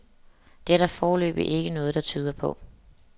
Det er der foreløbig ikke noget, der tyder på.